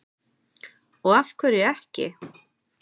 Og af hverju ekki?